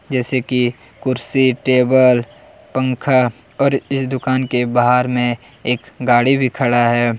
जैसे कि कुर्सी टेबल पंखा और इस दुकान के बाहर में एक गाड़ी भी खड़ा है।